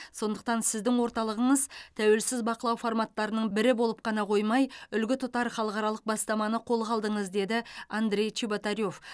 сондықтан сіздің орталығыңыз тәуелсіз бақылау форматтарының бірі болып қана қоймай үлгі тұтар халықаралық бастаманы қолға алдыңыз деді андрей чеботарев